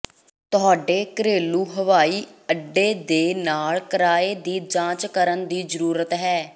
ਤੁਹਾਡੇ ਘਰੇਲੂ ਹਵਾਈ ਅੱਡੇ ਦੇ ਨਾਲ ਕਿਰਾਏ ਦੀ ਜਾਂਚ ਕਰਨ ਦੀ ਜ਼ਰੂਰਤ ਹੈ